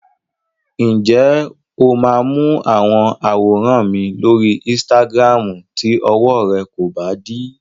Ǹjẹ́ o máa wo àwọn àwòrán mi lóri Instagram tí ọwọ rẹ kò bá dí?